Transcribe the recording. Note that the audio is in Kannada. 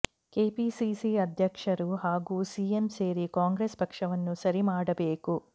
ಕೆಪಿಸಿಸಿ ಅಧ್ಯಕ್ಷರು ಹಾಗೂ ಸಿಎಂ ಸೇರಿ ಕಾಂಗ್ರೆಸ್ ಪಕ್ಷವನ್ನು ಸರಿ ಮಾಡಬೇಕು